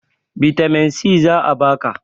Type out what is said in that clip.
bitamin si za a baka